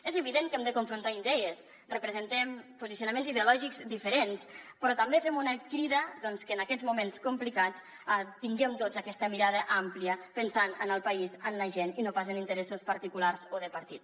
és evident que hem de confrontar idees representem posicionaments ideològics diferents però també fem una crida doncs que en aquests moments complicats tinguem tots aquesta mirada àmplia pensant en el país en la gent i no pas en interessos particulars o de partit